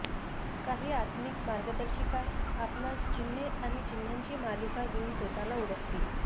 काही आत्मिक मार्गदर्शिका आपणास चिन्हे आणि चिन्हांची मालिका घेऊन स्वतःला ओळखतील